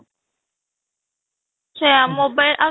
ସେଇଆ mobile ଆଉ